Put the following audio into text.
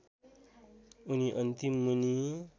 उनी अन्तिम मुनि